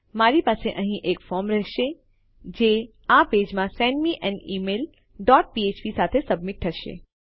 મારી પાસે અહીં એક ફોર્મ રહેશે જે આ પેજમાં send me an email dot ફ્ફ્પ સાથે સબમિટ થશે